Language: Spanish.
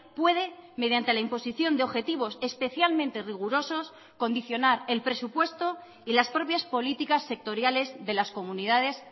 puede mediante la imposición de objetivos especialmente rigurosos condicionar el presupuesto y las propias políticas sectoriales de las comunidades